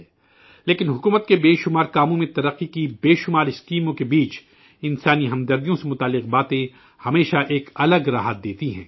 لیکن حکومت کے متعدد کاموں میں ترقی کی متعدد اسکیموں کے درمیان، انسانی احساسات سے جڑی باتیں ہمیشہ ایک الگ ہی خوشی دیتی ہیں